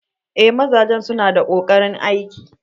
Eh mazajen su na da koƙarin aiki.